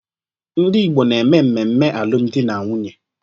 Ndị Igbo na-eme mmemme alụ m dị na nwunye.